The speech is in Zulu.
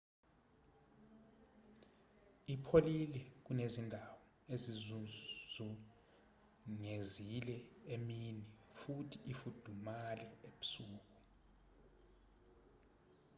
ipholile kunezindawo ezizizungezile emini futhi ifudumale ebusuku